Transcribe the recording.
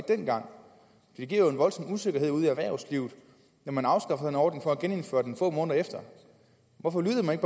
dengang det giver jo en voldsom usikkerhed ude i erhvervslivet når man afskaffer en ordning for at genindføre den få måneder efter hvorfor lyttede man